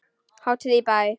Hátíð í bæ